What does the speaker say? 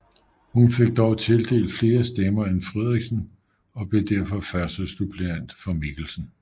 Hun fik dog tildelt flere stemmer end Friderichsen og blev derfor førstesuppleant for Mikkelsen